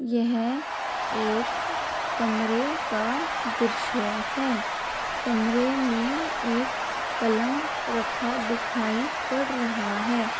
यह एक कमरे का दृश्य है कमरे में एक पलंग रखा दिखाई पर रहा है।